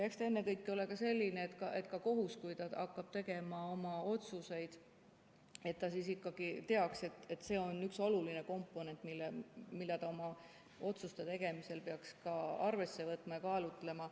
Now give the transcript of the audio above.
Eks see ennekõike ole selline, et ka kohus, kui ta hakkab tegema oma otsuseid, siis ikkagi teaks, et see on üks oluline komponent, mida ta oma otsuste tegemisel peaks ka arvesse võtma ja kaalutlema.